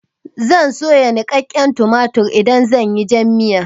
Zan soya niƙaƙƙen tumatur idan zan yi jan miya.